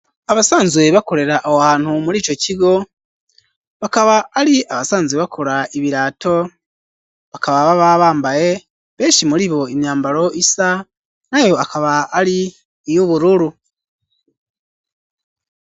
Abasanzwe bakorera awo hantu muri ico kigo bakaba ari abasanzwe bakora ibirato bakaba baba bambaye benshi muri bo imyambaro isa nayo akaba ari iy'ubururu.